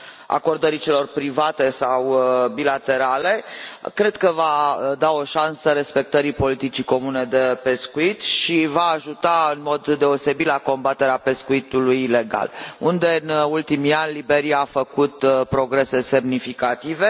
a acordării celor private sau bilaterale, cred că va da o șansă respectării politicii comune de pescuit și va ajuta în mod deosebit la combaterea pescuitului ilegal, unde, în ultimii ani, Liberia a făcut progrese semnificative.